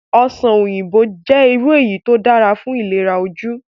Ọsàn òyìnbó jẹ́ irú èso tí ó dára fún ìlera ojú